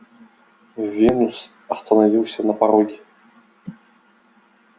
венус остановился на пороге